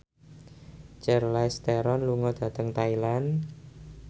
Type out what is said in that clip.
Charlize Theron lunga dhateng Thailand